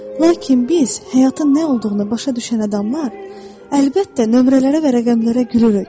Lakin biz, həyatın nə olduğunu başa düşən adamlar, əlbəttə nömrələrə və rəqəmlərə gülürük.